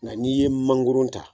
Nga n'i ye mangoron ta.